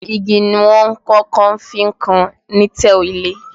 Igi ni wọ́n kọ́kọ́ fi ń kan lintel ilé